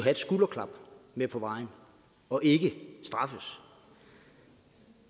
et skulderklap med på vejen og ikke straffes